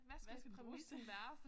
Hvad skal den bruges til